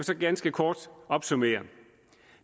så ganske kort opsummere